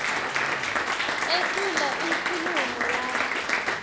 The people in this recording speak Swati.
etfula inkhulumo yakhe